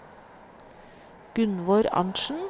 Gunvor Arntsen